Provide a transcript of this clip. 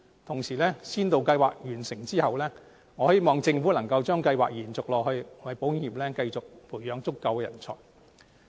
同時，在先導計劃完成後，我希望政府能把計劃延續下去，為保險業繼續培養足夠人才。